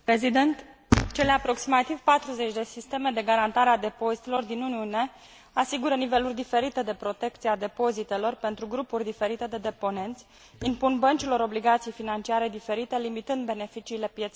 Cele aproximativ 40 de sisteme de garantare a depozitelor din Uniune asigură niveluri diferite de protecție a depozitelor, pentru grupuri diferite de deponenți, impun băncilor obligații financiare diferite, limitând beneficiile pieței interne.